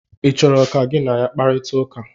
ị chọrọ ka gị na ya kparịta ụka?